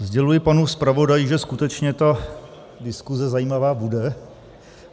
Sděluji panu zpravodaji, že skutečně ta diskuse zajímavá bude.